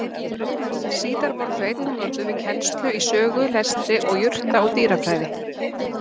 Síðar voru þau einnig notuð við kennslu í sögu, lestri, og jurta- og dýrafræði.